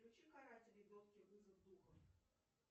включи каратели вызов духа